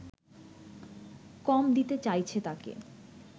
কম দিতে চাইছে তাকে